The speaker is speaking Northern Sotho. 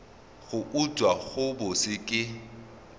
go utswa go bose ke